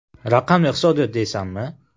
Raqamli iqtisodiyot deysanmi?